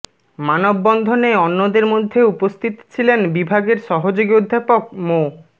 মানববন্ধনে অন্যদের মধ্যে উপস্থিত ছিলেন বিভাগের সহযোগী অধ্যাপক মো